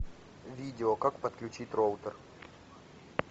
видео как подключить роутер